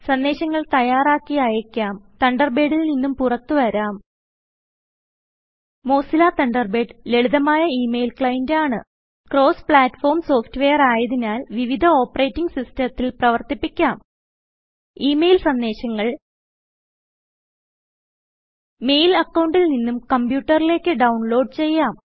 സന്ദേശങ്ങൾ തയ്യാറാക്കി അയക്കാം തണ്ടർബേഡിൽ നിന്നും പുറത്തു വരാം മോസില്ല തണ്ടർബേഡ് ലളിതമായ ഇ മെയിൽ ക്ലൈന്റാണ് ക്രോസ് പ്ലാറ്റ് ഫോം സോഫ്റ്റ്വെയർ ആയതിനാൽ വിവിധ ഒപറെറ്റിങ്ങ് സിസ്റ്റത്തിൽ പ്രവർത്തിപ്പിക്കാം ഇത് ഇ മെയിൽ സന്ദേശങ്ങൾ മെയിൽ അക്കൌണ്ടിൽ നിന്നും കമ്പ്യൂട്ടറിലേക്ക് ഡൌൺലോഡ് ചെയ്യാം